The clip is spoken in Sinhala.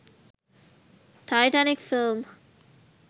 titanic film